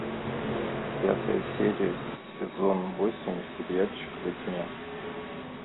пятая серия сезон восемь сериальчик во тьме